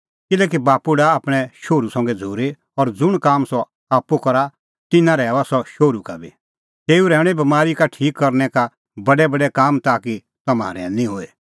किल्हैकि बाप्पू डाहा आपणैं शोहरू संघै झ़ूरी और ज़ुंण काम सह आप्पू करा तिन्नां रहैऊआ सह शोहरू का बी तेऊ रहैऊंणै बमारी का ठीक करनै का बी बडै काम ताकि तम्हां रहैनी होए